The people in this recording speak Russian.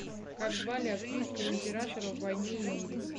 как звали австрийского императора в войне и мире